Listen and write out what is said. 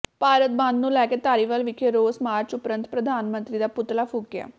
ਭਾਰਤ ਬੰਦ ਨੂੰ ਲੈ ਕੇ ਧਾਰੀਵਾਲ ਵਿਖੇ ਰੋਸ ਮਾਰਚ ਉਪਰੰਤ ਪ੍ਰਧਾਨ ਮੰਤਰੀ ਦਾ ਪੁਤਲਾ ਫੂਕਿਆ